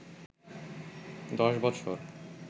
দশ বছর